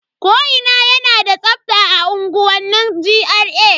Ko ina na da tsafta a unguwanni GRA.